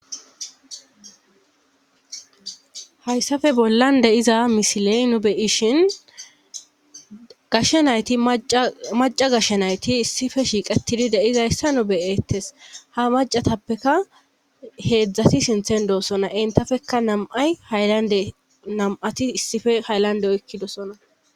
Hayssape bollan deiza misiley nu beyishin gashshe nayti maca gashshe nayti issife shiiqetidi deizayssa nu beyeettes ha macatappeka heedzdzati sinthen doosona entafekka nam'ay haylande nam'ati issife hayllande oykkidosona.